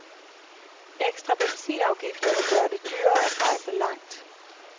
Ekstra benzinafgifter vil gøre det dyrere at rejse langt.